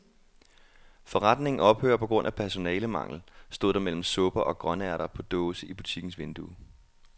Forretningen ophører på grund af personalemangel, stod der mellem supper og grønærter på dåse i butikkens vindue.